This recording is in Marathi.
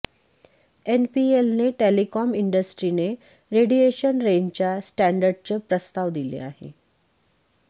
एनपीएलने टेलिकॉम इंडस्ट्रीने रेडिएशन रेंजच्या स्टॅंडर्डचे प्रस्ताव दिले आहे